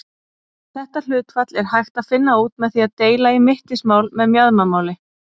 Þetta hlutfall er hægt að finna út með því að deila í mittismál með mjaðmamáli.